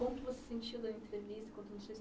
Como você sentiu dando entrevista, quanto a sua